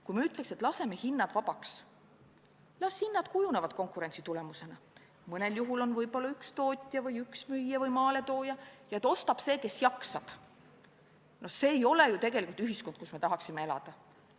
Kui me ütleks, et laseme hinnad vabaks – las hinnad kujunevad konkurentsi tulemusena, mõnel juhul võib olla üks tootja või üks müüja või maaletooja – ja et ostab see, kes jaksab, siis see ei oleks ju tegelikult ühiskond, kus me tahaksime elada.